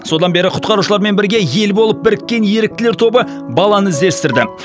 содан бері құтқарушылармен бірге ел болып біріккен еріктілер тобы баланы іздестірді